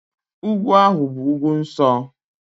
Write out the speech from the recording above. Ugwu ahụ bụ ugwu nsọ